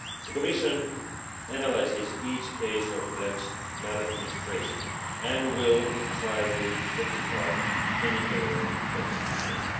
The Commission analyses each case of alleged maladministration, and will try to rectify any error that has been made.